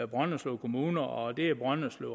brønderslev kommune og det er brønderslev